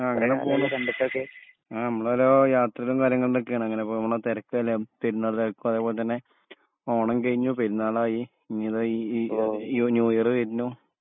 ആ അങ്ങനെ പോണു ആ നമ്മളോരോ യാത്രേം കാര്യങ്ങളിലൊക്കെണ് അങ്ങനെപ്പോ മ്മളാ തിരക്കല്ലെ പെരുനാൾ തെരക്കും അദെപോലെതഞ്ഞെ ഓണം കഴിഞ്ഞു പെരുന്നാൾ ആയി ഇനിധ ഇ ഈ ന്യൂ ഇയർ വെര്ന്നു